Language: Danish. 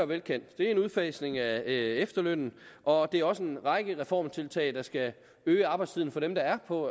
velkendt det er en udfasning af efterlønnen og det er også en række reformtiltag der skal øge arbejdstiden for dem der er på